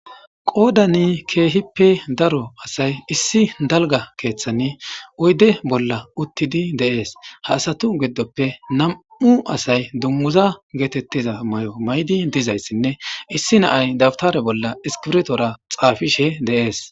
Qoodani keehippe daro asay issi dalga keeththani oyde bolla uttidi deees haasatu giddoppe nam'u asay dummuza geetettiza may'o maydi dizayssinne issi naay dabtare bolla iskirtora xaafishe deees